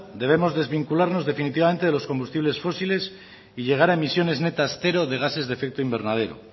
debemos desvincularnos definitivamente de los combustibles fósiles y llegar a emisiones netas cero de gases de efecto invernadero